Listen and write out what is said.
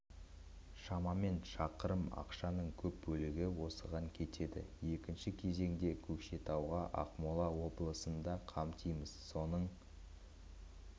шамамен шақырым ақшаның көп бөлігі осыған кетеді екінші кезеңде көкшетауға ақмола облысын да қамтимыз соның